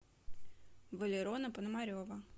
валерона пономарева